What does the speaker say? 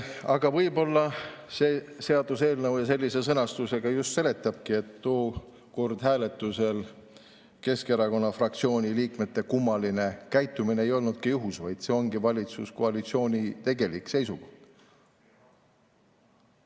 Aga võib-olla see seaduseelnõu sellises sõnastuses just, et tookord hääletusel Keskerakonna fraktsiooni liikmete kummaline käitumine ei olnud juhus, vaid see ongi valitsuskoalitsiooni tegelik seisukoht.